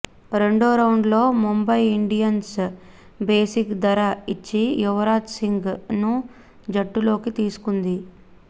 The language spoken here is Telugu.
రెండో రౌండ్ లో ముంబై ఇండియన్స్ బేసిక్ ధర ఇచ్చి యువరాజ్ సింగ్ ను జట్టులోకి తీసుకుంది